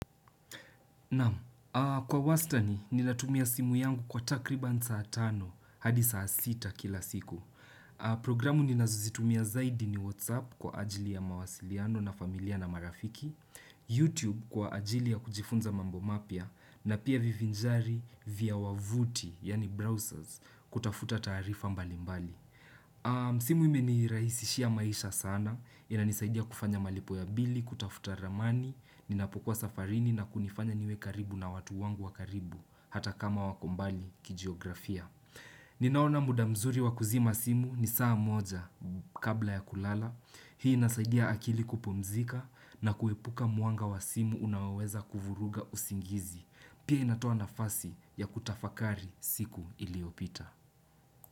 Naam, kwa wastani ninatumia simu yangu kwa takriban saatano hadi saa sita kila siku Programu ninazozitumia zaidi ni Whatsapp kwa ajili ya mawasiliano na familia na marafiki YouTube kwa ajili ya kujifunza mambo mapya na pia vivinjari vya wavuti yani browsers kutafuta taarifa mbali mbali simu imeni rahisi shia maisha sana inanisaidia kufanya malipo ya bili, kutafuta ramani Ninapukua safarini na kunifanya niwe karibu na watu wangu wa karibu Hata kama wakombali kijiografia Ninaona muda mzuri wakuzima simu ni saa moja kabla ya kulala Hii inasaidia akili kupumzika na kuepuka mwanga wa simu unaweza kuvuruga usingizi Pia inatoa nafasi ya kutafakari siku iliyopita.